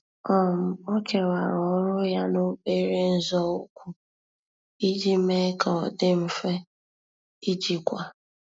um Ọ́ kèwàrà ọ́rụ́ ya n’óbèré nzọụkwụ iji mee kà ọ́ dị́ mfe íjíkwá.